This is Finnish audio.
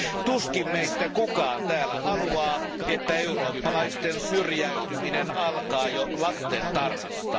Tuskin meistä kukaan täällä haluaa, että eurooppalaisten syrjäytyminen alkaa jo lastentarhasta.